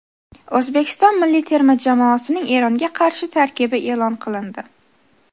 O‘zbekiston milliy terma jamoasining Eronga qarshi tarkibi e’lon qilindi.